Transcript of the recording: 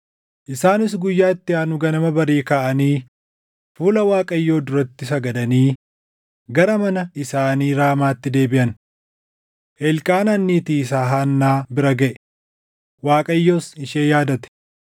Isaanis guyyaa itti aanu ganama barii kaʼanii fuula Waaqayyoo duratti sagadanii gara mana isaanii Raamaatti deebiʼan. Elqaanaan niitii isaa Haannaa bira gaʼe; Waaqayyos ishee yaadate.